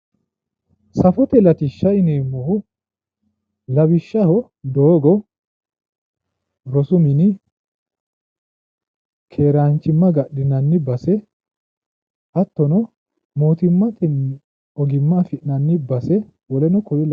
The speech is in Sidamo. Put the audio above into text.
Safote latishsha yineemmohu lawishshaho, doogo, rosu mini, keeraanchimma agadhinanni base hattono, mootimmatenni ogimma afi'nanni base woluno kuri labbanno.